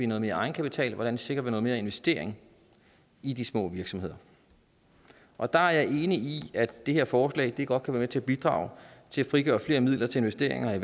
noget mere egenkapital hvordan vi sikrer noget mere investering i de små virksomheder og der er jeg enig i at det her forslag godt kan være med til at bidrage til at frigøre flere midler til investeringer